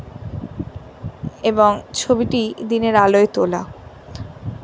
এবং ছবিটি দিনের আলোয় তোলা।